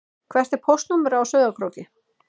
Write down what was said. Hvert er póstnúmerið á Sauðárkróki?